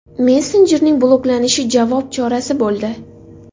Messenjerning bloklanishi javob chorasi bo‘ldi.